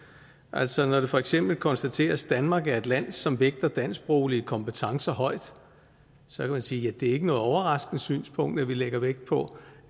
altså når det for eksempel konstateres at danmark er et land som vægter dansksproglige kompetencer højt så kan man sige at det ikke er noget overraskende synspunkt at vi lægger vægt på